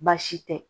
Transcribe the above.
Baasi tɛ